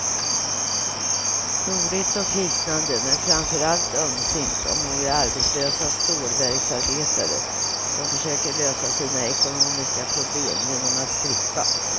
Roligt och hisnande men framförallt ömsint om några arbetslösa stålverksarbetare som försöker lösa sina ekonomiska problem genom att strippa.